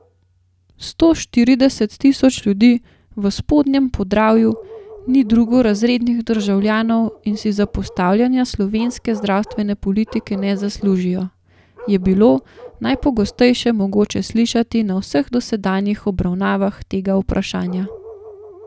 Sto štirideset tisoč ljudi v Spodnjem Podravju ni drugorazrednih državljanov in si zapostavljanja slovenske zdravstvene politike ne zaslužijo, je bilo najpogosteje mogoče slišati na vseh dosedanjih obravnavah tega vprašanja.